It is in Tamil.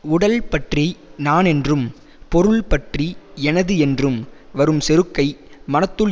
உடல் பற்றி நான் என்றும் பொருள் பற்றி எனது என்றும் வரும் செருக்கை மனத்துள்